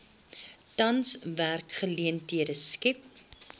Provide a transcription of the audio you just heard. tans werksgeleenthede skep